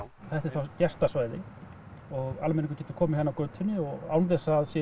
þetta er þá gestasvæði og almenningur getur komið hér inn götunni án þess að